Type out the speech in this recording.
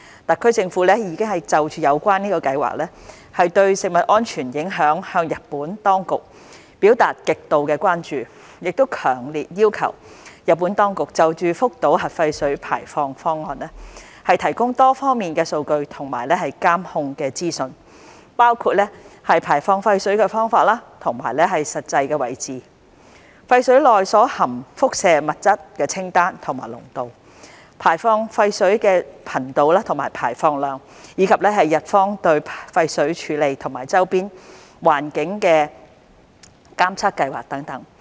特區政府已就有關計劃對食物安全的影響向日本當局表達極度關注，強烈要求日本當局就福島核廢水排放方案提供多方面的數據和監控的資訊，包括排放廢水的方法和實際位置、廢水內所含輻射物質的清單和濃度、排放廢水的頻度和排放量，以及日方對廢水處理和周邊環境的監測計劃等。